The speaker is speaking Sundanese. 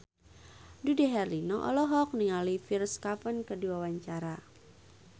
Dude Herlino olohok ningali Pierre Coffin keur diwawancara